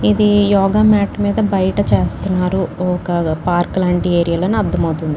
ఇది యోగ మ్యాట్ మీద బయట చేస్తున్నారు ఒక్క పార్క్ లాంటి ఏరియాలో అని అర్థమవుతుంది.